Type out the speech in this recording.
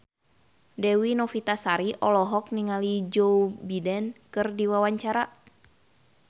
Dewi Novitasari olohok ningali Joe Biden keur diwawancara